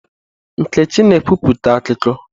Nkechi na ekwupụta akụkọ.